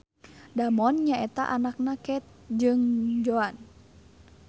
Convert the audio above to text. Damon nyaeta anakna Keith jeung Joan